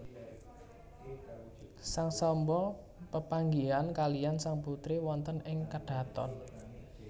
Sang Samba pepanggihan kaliyan sang putri wonten ing kadhaton